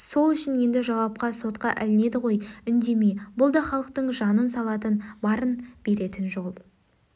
сол үшін енді жауапқа сотқа ілінеді ғой үндеме бұл да халықтың жанын салатын барын беретін жолы